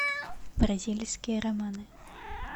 бразильские романы